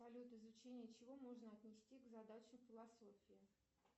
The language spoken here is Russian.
салют изучение чего можно отнести к задаче философии